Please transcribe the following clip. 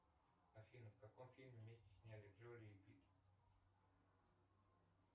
афина в каком фильме вместе снялись джоли и питт